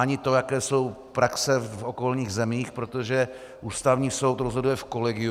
Ani to, jaké jsou praxe v okolních zemích, protože Ústavní soud rozhoduje v kolegiu.